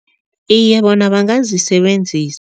Iye, bona bangazisebenzisa.